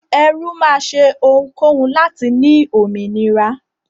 Ẹrú máa ṣe ohunkóhun láti ní òmìnira.